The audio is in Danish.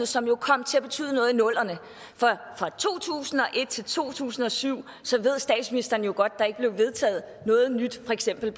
som kom til at betyde noget i nullerne for fra to tusind og et til to tusind og syv ved statsministeren jo godt at der ikke blev vedtaget noget nyt for eksempel